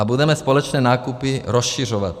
A budeme společné nákupy rozšiřovat.